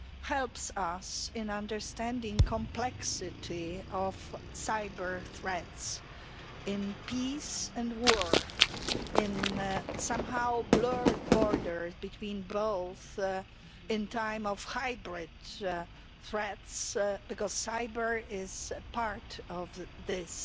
helps us in understanding the complexity of cyber threats in peace and war and the somewhat blurred border between both at a time of hybrid threats, because cyber' is part of this